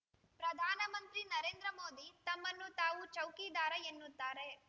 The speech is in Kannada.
ಪ್ರಧಾನಮಂತ್ರಿ ನರೇಂದ್ರ ಮೋದಿ ತಮ್ಮನ್ನು ತಾವು ಚೌಕಿದಾರ ಎನ್ನುತ್ತಾರೆ